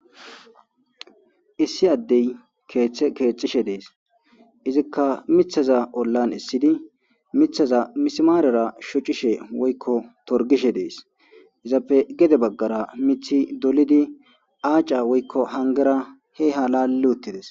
Issi adeyi kethe kethishe desi izikka mithaza olani esidi mthaza misimarera shocishe woyikko torigishe desi izappe gede bagara mithi dolidi acca woyikko hanigera laki utidesi